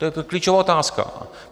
To je klíčová otázka.